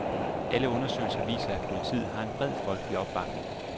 Alle undersøgelser viser, at politiet har en bred folkelig opbakning.